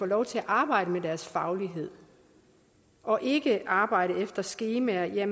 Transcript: lov til at arbejde med deres faglighed og ikke arbejde efter skemaer